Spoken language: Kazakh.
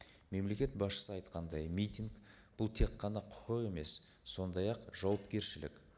мемлекет басшысы айтқандай митинг бұл тек қана құқық емес сондай ақ жауапкершілік